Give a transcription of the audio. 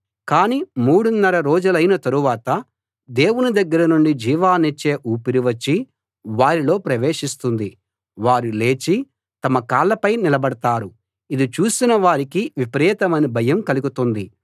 కాని మూడున్నర రోజులైన తరువాత దేవుని దగ్గర నుండి జీవాన్నిచ్చే ఊపిరి వచ్చి వారిలో ప్రవేశిస్తుంది వారు లేచి తమ కాళ్ళపై నిలబడతారు ఇది చూసిన వారికి విపరీతమైన భయం కలుగుతుంది